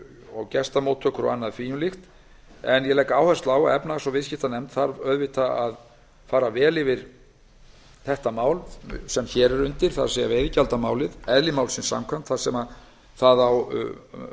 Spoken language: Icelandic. og gestamóttöku ég legg áherslu á að efnahags og viðskiptanefnd fari vel yfir það mál sem hér er undir það er veiðigjaldamálið eðli málsins samkvæmt þar sem það á